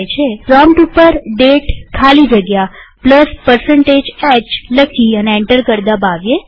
prompt ઉપર દાતે ખાલી જગ્યા h લખી અને એન્ટર કળ દબાવીએ